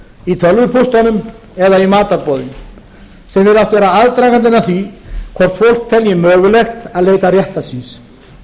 í tölvupóstunum eða í matarboðin sem virðast vera aðdragandinn að því hvort fólk telji mögulegt að leita réttar síns